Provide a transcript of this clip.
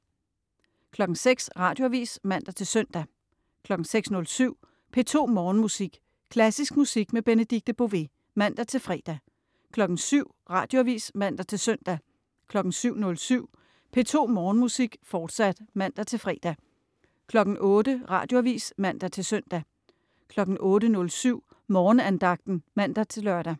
06.00 Radioavis (man-søn) 06.07 P2 Morgenmusik. Klassisk musik med Benedikte Bové (man-fre) 07.00 Radioavis (man-søn) 07.07 P2 Morgenmusik, fortsat (man-fre) 08.00 Radioavis (man-søn) 08.07 Morgenandagten (man-lør)